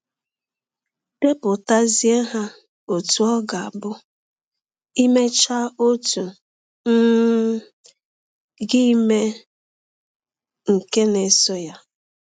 Depụtazie ha ọtụ ọ ga - abụ i mechaa ọtụ um, gị emee nke na - esọ ya.